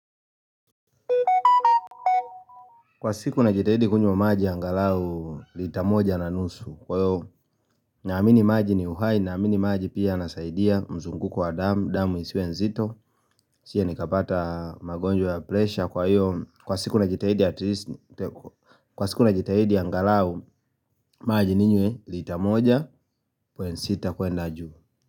Kwa siku na jitahidi kunywa maji angalau litamoja na nusu, kwa hiyo na amini maji ni uhai na amini maji pia yanasaidia mzungu kwa damu, damu isiwe nzito, nisije nikapata magonjwa ya plesha kwa hiyo, kwa siku najitahidi angalau maji ninywe litamoja, kwenda juu.